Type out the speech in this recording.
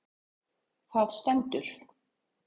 Þar stendur: